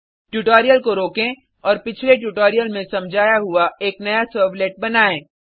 tutorial को रोकें और पिछले ट्यूटोरियल में समझाया हुआ एक नया सर्वलेट बनायें